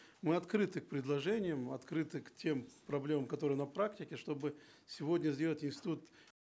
мы открыты к предложениям открыты к тем проблемам которые на практике чтобы сегодня сделать институт